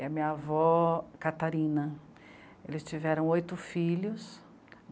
E a minha avó, Catarina, eles tiveram oito filhos.